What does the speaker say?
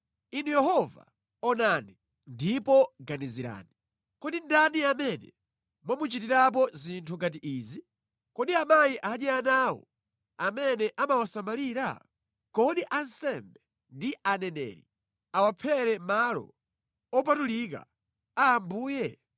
Inu Yehova, onani, ndipo ganizirani: kodi ndani amene mwamuchitirapo zinthu ngati izi? Kodi amayi adye ana awo, amene amawasamalira? Kodi ansembe ndi aneneri awaphere mʼmalo opatulika a Ambuye?